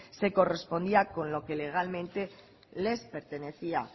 se correspondía con lo que legalmente les pertenecía